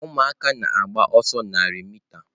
Ụmụaka na-agba ọsọ narị mita.